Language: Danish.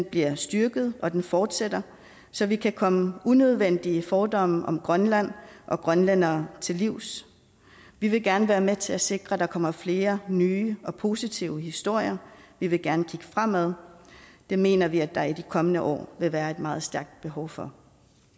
bliver styrket og at den fortsætter så vi kan komme unødvendige fordomme om grønland og grønlændere til livs vi vil gerne være med til at sikre at der kommer flere nye og positive historier vi vil gerne kigge fremad og det mener vi der i de kommende år vil være et meget stærkt behov for